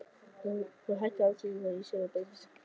Hún hakkaði andstæðingana í sig af beinskeyttri nákvæmni.